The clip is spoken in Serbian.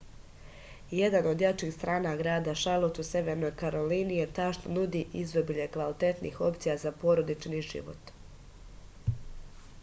jedna od jačih strana grada šarlot u severnoj karolini je ta što nudi izobilje kvalitetnih opcija za porodični život